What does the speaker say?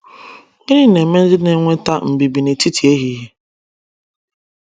Gịnị na - eme ndị na - enweta mbibi n’etiti ehihie?